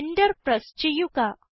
Enter press ചെയ്യുക